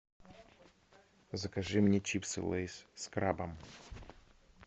закажи мне чипсы лейс с крабом